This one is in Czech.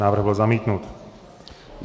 Návrh byl zamítnut.